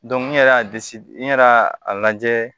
n yɛrɛ y'a n yɛrɛ y'a lajɛ